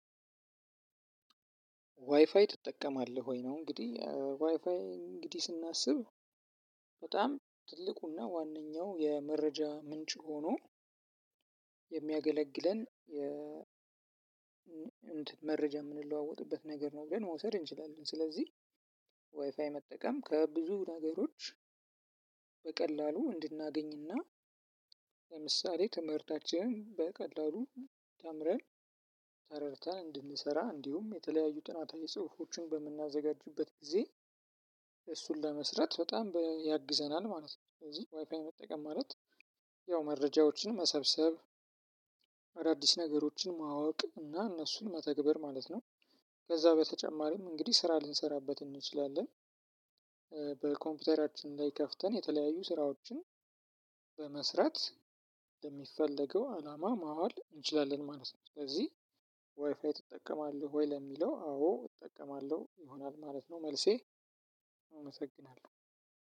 "ዋይፋይ ትጠቀማለህ ወይ?" ነው እንግዲህ፣ ዋይፋይን እንግዲህ ስናስብ በጣም ትልቁ እና ዋነኛው የመረጃ ምንጭ ሆኖ የሚያገለግለን የ መረጃ የምንለዋወጥበት ነገር ነው ብለን መውሰድ እንችላለን። ስለዚህ ዋይፋይ መጠቀም ከብዙ ነገሮች በቀላሉ እንድናገኝ እና ለምሳሌ ትምህርታችንን በቀላሉ ተምረን ተረድተን እንድንሰራ እንዲሁም የተለያዩ ጥናታዊ ጽሁፎችን በምናዘጋጁበት ጊዜ እሱን ለመስራት በጣም ያግዘናል ማለት ነው። ስለዚህ ዋይፋይ መጠየቅ ማለት ያው መረጃዎችን መሰብሰብ አዳዲስ ነገሮችን ማወቅ እና እነሱን መተግበር ማለት ነው። ከዛ በተጨማሪም እንግዲህ ስራ ልንሰራበት እንችላለን። በኮምፒውተራችን ላይ ከፍተን የተለያዩ ስራዎችን በመስራት ለሚፈለገው አላማ ማዋል እንችላለን ማለት ነው። ስለዚህ "ዋይፋይ ትጠቀማለህ ወይ?" ለሚለው አዎ እጠቀማለሁ ይሆናል ማለት ነው መልሴ አመሰግናለሁ።